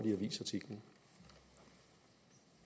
i en avisartikel